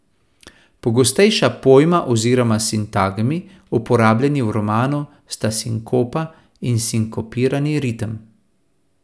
Pogostejša pojma oziroma sintagmi, uporabljeni v romanu, sta sinkopa in sinkopirani ritem.